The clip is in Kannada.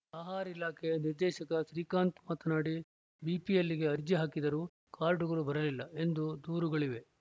ಆಹಾರ ಇಲಾಖೆ ನಿರ್ದೇಶಕ ಶ್ರೀಕಾಂತ್‌ ಮಾತನಾಡಿ ಬಿಪಿಎಲ್‌ಗೆ ಅರ್ಜಿ ಹಾಕಿದರೂ ಕಾರ್ಡ್‌ಗಳು ಬರಲಿಲ್ಲ ಎಂದು ದೂರುಗಳಿವೆ